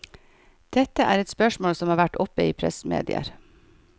Dette er et spørsmål som har vært oppe i pressemedier.